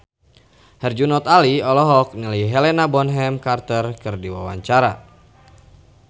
Herjunot Ali olohok ningali Helena Bonham Carter keur diwawancara